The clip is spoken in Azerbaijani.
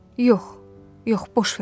Yox, yox, boş ver.